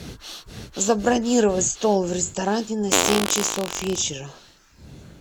забронировать стол в ресторане на семь часов вечера